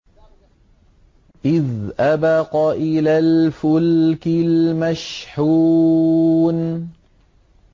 إِذْ أَبَقَ إِلَى الْفُلْكِ الْمَشْحُونِ